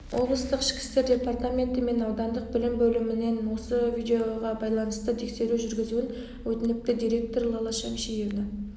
облыстық ішкі істер департаменті мен аудандық білім бөлімінен осы видеоғабайланысты тексеру жүргізуін өтініпті директор лала шәмшиевна